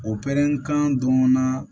O pɛrɛn kan dɔn na